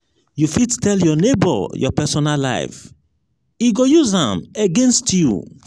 you fit tell your nebor your personal life e go use am against you.